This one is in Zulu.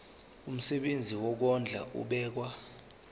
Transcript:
umsebenzi wokondla ubekwa